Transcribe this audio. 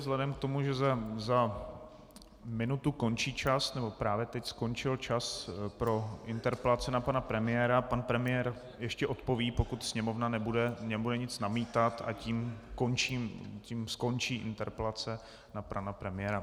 Vzhledem k tomu, že za minutu končí čas, nebo právě teď skončil čas pro interpelace na pana premiéra, pan premiér ještě odpoví, pokud Sněmovna nebude nic namítat, a tím skončí interpelace na pana premiéra.